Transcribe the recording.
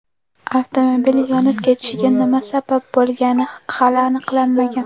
Avtomobil yonib ketishiga nima sabab bo‘lgani hali aniqlanmagan.